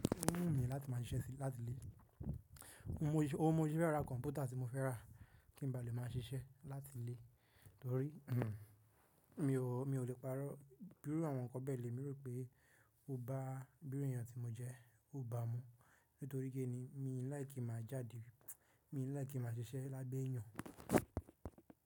Ó mini láti máà ṣiṣẹ́ sí láti ilé. O n mọ sé ya ra kọ̀npútà tí mo fẹ́ rà kí n ba le máa ṣiṣẹ́ láti ilé torí mi ò lè parọ́ bíi àwọn kan bẹ́ẹ̀ lè. Emi rò pé bó bá bíi èèyàn tí mo jẹ́, ó bá mi nítorí pé ni mi ò láì kí ma jáde, mi ò láì kí ma ṣiṣẹ́ lábẹ́ èèyàn.